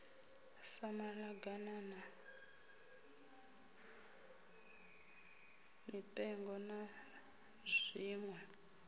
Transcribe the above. sa maḓaganana mipengo na zwiṋwe